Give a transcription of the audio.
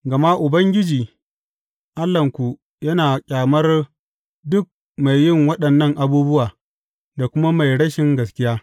Gama Ubangiji Allahnku yana ƙyamar duk mai yi waɗannan abubuwa, da kuma mai rashin gaskiya.